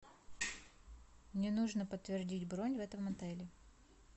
мне нужно подтвердить бронь в этом отеле